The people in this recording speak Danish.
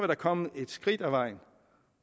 da kommet et skridt på vejen